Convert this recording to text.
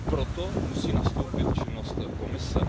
Proto musí nastoupit činnost Komise.